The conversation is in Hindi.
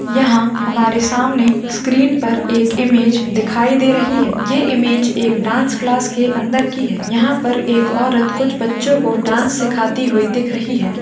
यहाँ हमारे सामने स्क्रीन पर एक इमेज दिखाई दे रही है ये इमेज एक डांस क्लास के अंदर की है यहाँ पर एक औरत कुछ बच्चों को डांस सिखाती हुई दिख रही है।